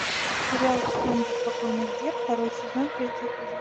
сериал сезон беспокойных дев второй сезон третий эпизод